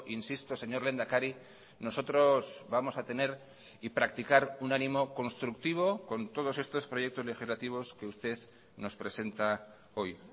insisto señor lehendakari nosotros vamos a tener y practicar un ánimo constructivo con todos estos proyectos legislativos que usted nos presenta hoy